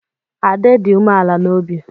Ade dị umeala n'obi.